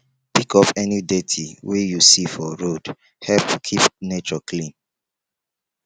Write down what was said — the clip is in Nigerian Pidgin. pick up any dirty wey you see for road help keep nature clean